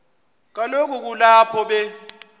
kaloku kulapho be